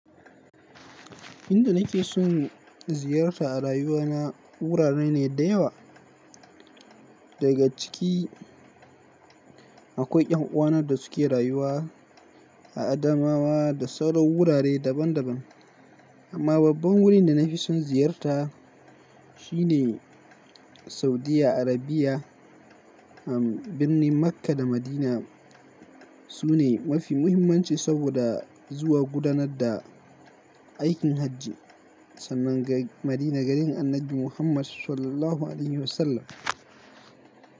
Inda nake son ziyarta a rayuwa na wurare ne da yawa. Daga ciki akwai 'yan uwa na da suke rayuwa a Adamawa da sauran wurare daban-daban. Amma babban wurin da na fi son ziyarta shi ne Saudi Arabia. Amm birnin Makkah da Madinah sune mafi muhimmanci saboda zuwa gudanar da aikin Hajji. Sannan ga Madinah garin Annabi Muhammad Sallallahu Alaihi Wasallam.